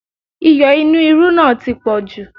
Iyọ̀ inú irú náà tí poju